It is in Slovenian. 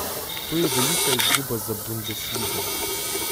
To je velika izguba za Bundesligo.